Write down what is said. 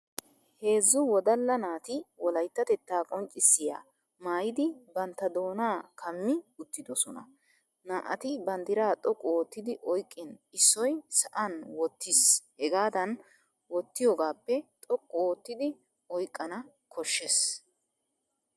Hezzu wodalla naati wolayttatettaa qonccissiya maayidi bantta doonaa kammi uttidosona . Naa'ati banddiraa xoqqu oottidi oyqqin issoy sa'an wottis hegaadan oottiyoogaappe xoqqu oottidi oyqqana koshshes.